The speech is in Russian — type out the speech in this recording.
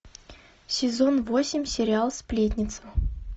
сезон восемь сериал сплетница